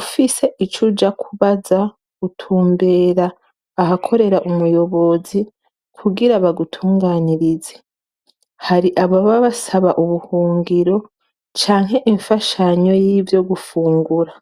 ufise ico uja kubaza, utumbera ahakorera umuyobozi, kugira bagutunganirize, hari ababa basaba ubuhungiro, canke imfashanyo yivyo gufungura.